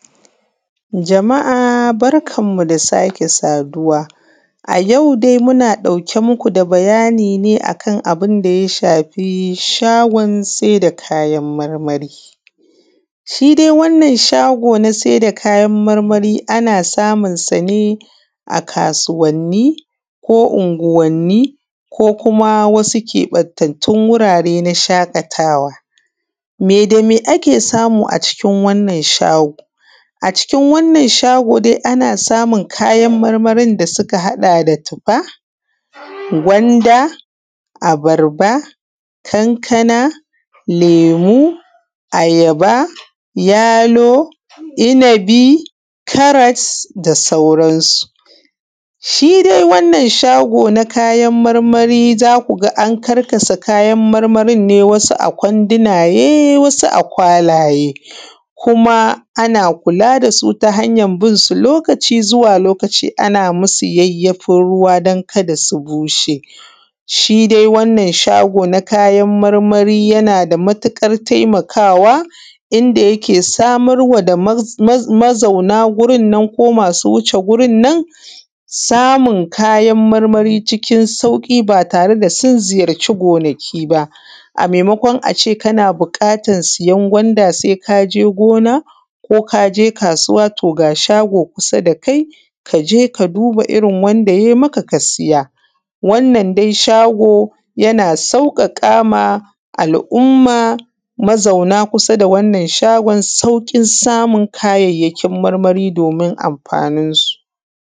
Jama’a barkanmu da sake saduwa. A yau dai muna ɗauke muku da bayani ne akan abunda ya shafi shagon saida kayan marmari. Shi dai wannan shago na saida kayan marmari ana samun sane a kasuwanni, unguwanni ko kuma keɓaɓɓun wurare na shaƙatawa. Meda me ake samu a wurinnan shago? A cikin wannan shago dai ana samun kayan marmarin da suka haɗa da tuffa, gwanda, abarba, Kankana, lemu, ayaba, yalo, innabi, karas da sauran su. Shidai wannan shago na kayan marmari zakuga an karkasa kayan marmarin ne wasu a kwandunaye wasu a kwalaye kuma ana kula dasu ta hanyan binsu lokaci zuwa lokaci ana musu yayyafin ruwa dan kada su bushe. Shi dai wannan shago na kayan marmari yanada matuƙar taimakawa inda yake samar ma da mazauna gurinnan ko masu wuce wurinnan samun kayan marmari cikin sauƙi ba tare da sun ziyarci gonaki ba, amai makon ace kana buƙatan siyan gwanda sai kaje kasuwa to ga shago kusa dakai kaje ka duba wanda yai maka ka siya wannan dai shago yana sauƙaƙa ma al umma mazauna kusa da wannan shagon sauƙin samun kayan marmari domin amfanin su.